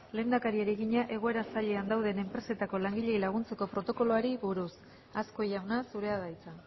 lehendakariari egina egoera zailean dauden enpresetako langileei laguntzeko protokoloari buruz azkue jauna zurea da hitza